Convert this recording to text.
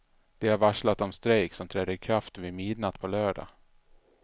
De har varslat om strejk som träder i kraft vid midnatt på lördag.